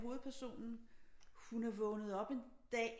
Hovedpersonen hun er vågnet op en dag